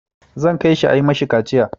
Zan kai shi a yi ma shi kaciya.